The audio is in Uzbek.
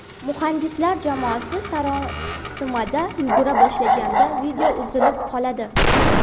Muhandislar jamoasi sarosimada yugura boshlaganda video uzilib qoladi.